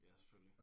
Ja selvfølgelig